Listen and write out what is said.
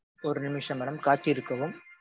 ஒரு நிமிஷம் madam காத்திருக்கவும்.